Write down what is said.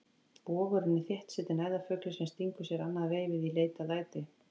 Vogurinn er þétt setinn æðarfugli sem stingur sér annað veifið í leit að æti.